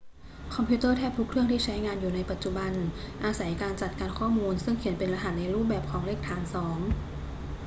คอมพิวเตอร์แทบทุกเครื่องที่ใช้งานอยู่ในปัจจุบันอาศัยการจัดการข้อมูลซึ่งเขียนเป็นรหัสในรูปแบบของเลขฐานสอง